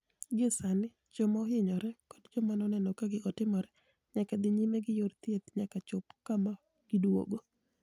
Gie Saanii joma ohiniyore, koda joma noni eno ka gigo timore niyaka dhi niyime gi yor thieth niyaka chop kama giduogo.